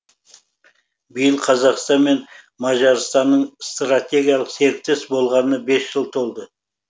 биыл қазақстан мен мажарстанның стратегиялық серіктес болғанына бес жыл толды